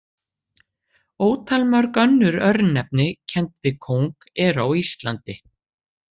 Ótalmörg önnur örnefni kennd við kóng eru á Íslandi.